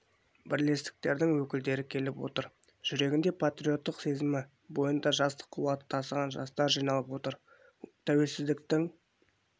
бірлестіктердің өкілдері келіп отыр жүрегінде патриоттық сезімі бойында жастық қуаты тасыған жастар жиналып отыр тәуелсіздіктің